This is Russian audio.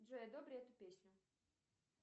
джой одобри эту песню